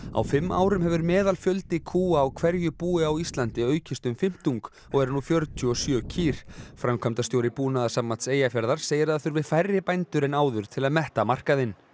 á fimm árum hefur meðalfjöldi kúa á hverju búi á Íslandi aukist um fimmtung og er nú fjörutíu og sjö kýr framkvæmdastjóri Búnaðarsambands Eyjafjarðar segir að það þurfi færri bændur en áður til að metta markaðinn